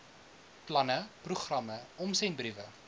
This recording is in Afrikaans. planne programme omsendbriewe